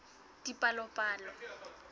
dipalopalo